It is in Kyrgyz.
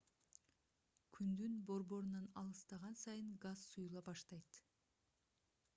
күндүн борборунан алыстаган сайын газ суюла баштайт